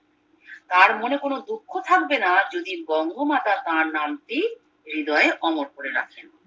তার মনে কম দুঃখ থাকবে না যদি বঙ্গমাতা তার নাম টি হৃদয়ে অমর করে রাখেন